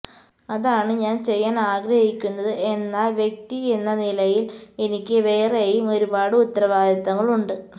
അതാണ് ഞാൻ ചെയ്യാൻ ആഗ്രഹിക്കുന്നത് എന്നാല് വ്യക്തി എന്ന നിലയില് എനിക്ക് വേറേയും ഒരുപാട് ഉത്തരവാദിത്തങ്ങളുണ്ട്